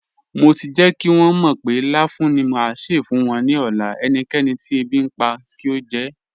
Mo ti jẹ́ kí wọn mọ̀ pé láfùún ni má ṣé fún wọn ní ọ̀lá, ẹ̀níkẹ̀nì tí èbí npa ni kí o jẹ́.